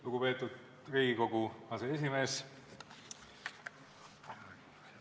Lugupeetud Riigikogu aseesimees!